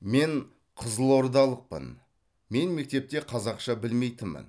мен қызылордалықпын мен мектепте қазақша білмейтінмін